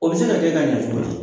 O bɛ se ka kɛ k'a ɲa cogo di?